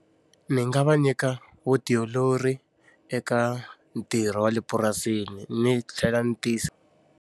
Ni nga va nyika vutiolori eka ntirho wa le purasini ni tlhela ni tiyi.